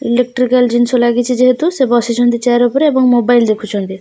Electrical ଜିନିଷ ଲାଗିଛି ଯେହେତୁ ସେ ବସିଛନ୍ତି ଚେୟାର ଉପରେ ଏବଂ ମୋବାଇଲ ଦେଖୁଛନ୍ତି।